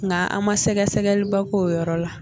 Nka an ma sɛgɛsɛgɛliba k'o yɔrɔ la